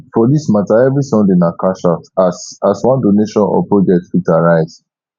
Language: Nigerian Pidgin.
for dis mata evri sunday na cashout as as one donation or project fit arise